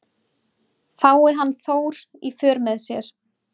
Fái hann Þór í för með sér